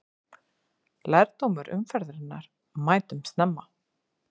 Lærdómur umferðarinnar: Mætum snemma!